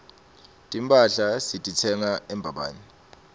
timphahla sititsenga embabane